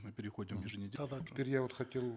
мы переходим теперь я вот хотел